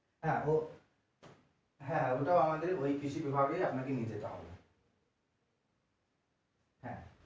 হ্যাঁ হ্যাঁ ওইটাও আমাদের ওই কৃষি বিভাগে নিয়ে যেতে হবে হ্যাঁ